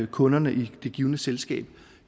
kunderne i det givne selskab